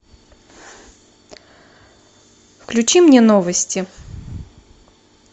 включи мне новости